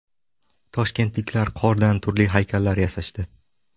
Toshkentliklar qordan turli haykallar yasashdi.